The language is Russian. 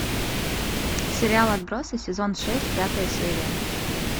сериал отбросы сезон шесть пятая серия